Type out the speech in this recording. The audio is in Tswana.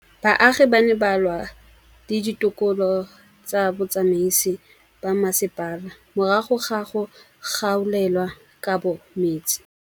Baagi ba ne ba lwa le ditokolo tsa botsamaisi ba mmasepala morago ga go gaolelwa kabo metsi.